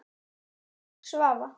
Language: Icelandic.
Þín, Svava.